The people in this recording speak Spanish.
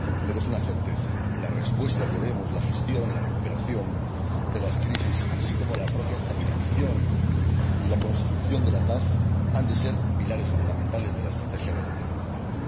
Pero es una certeza, y las respuestas que demos —la gestión, la recuperación de las crisis, así como la propia estabilización y la construcción de la paz— han de ser pilares fundamentales de la estrategia de la Unión Europea.